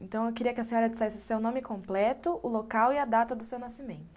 Então, eu queria que a senhora dissesse seu nome completo, o local e a data do seu nascimento.